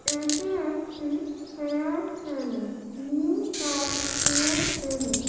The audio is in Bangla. এটি একটি hair salon new Taj hair salon.